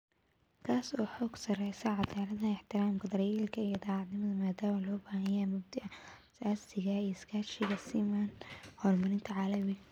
Kaas oo xoogga saaraya caddaaladda, ixtiraamka, daryeelka, iyo daacadnimada maadaama loo baahan yahay mabaadi'da aasaasiga ah ee iskaashiga siman ee horumarinta caalamiga ah.